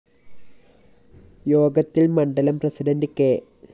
യോഗത്തില്‍ മണ്ഡലം president K